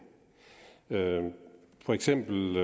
for eksempel